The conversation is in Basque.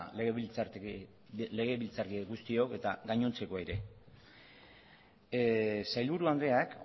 legebiltzarkide guztiok eta gainontzekoak ere sailburu andreak